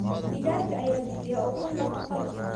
Digaagga ayaa bixiya ukun nafaqo leh.